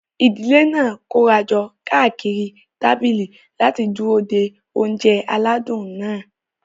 Ìdílé náà kóra jọ káàkiri tábìlì láti dúró de oúnjẹ aládùn náà.